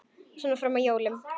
Svona fram að jólum.